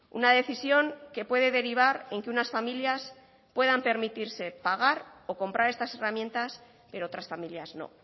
una decisión que puede derivar en que unas familias puedan permitirse pagar o comprar estas herramientas pero otras familias no